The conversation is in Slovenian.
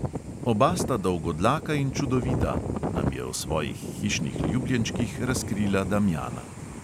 "Oba sta dolgodlaka in čudovita," nam je o svojih hišnih ljubljenčkih razkrila damjana.